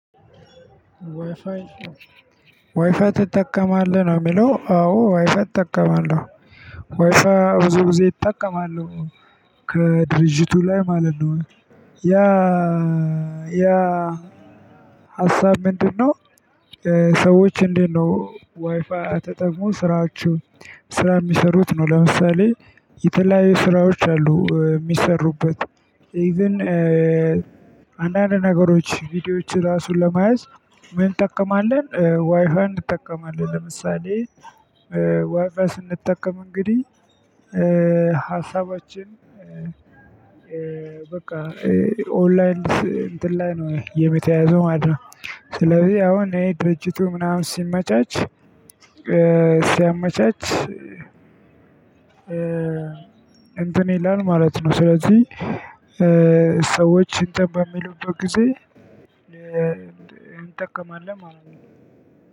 ዋይፋይ ዋይፋይ ትጠቀማለህ ነው የሚለው አዎ ዋይፋይ እጠቀማለሁ። ዋይፋይ ብዙ ግዜ ይጠቀማሉ። ከድርጅቱ ላይ ማለት ነው። ያ ያ ሀሳብ ምንድነው? ሰዎች እንዴት ነው ዋይፋይ ተጠቅሞ ስራዎች ስራ የሚሰሩት ነው? ለምሳሌ የተለያየ ስራዎች አሉ የሚሰሩበት። ኢቭን አንዳንድ ነገሮች ቪዲዮዎች ራሱ ለመያዝ። ምን እንጠቀማለን ዋይፋን እንጠቀማለን ለምሳሌ። ዋይፋን ስንጠቀም እንግዲህ ሀሳባችን በቃ ኦንላይን እንትን ላይ ነው የተያያዘው ማለት ነው። ስለዚህ አሁን ይሄ ድርጅቱ ምናምን ሲመቻች ሲያመቻች። እንትን ይላል ማለት ነው። ስለዚህ ሰዎች እንትን በሚሉበት ጊዜ እንጠቀማለን ማለት ነው።